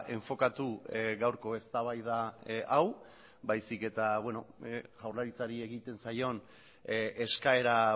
enfokatu gaurko eztabaida hau baizik eta jaurlaritzari egiten zaion eskaera